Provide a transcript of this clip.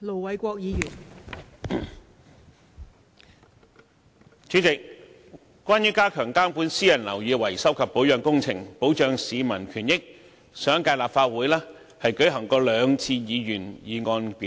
代理主席，關於加強監管私人樓宇維修及保養工程，保障市民權益，上一屆立法會已舉行過兩次議員議案辯論。